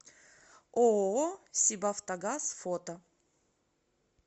ооо сибавтогаз фото